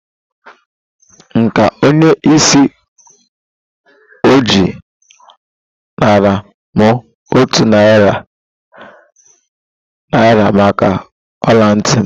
Nka onye isi oji a nara m otu narị naira maka ọla ntị m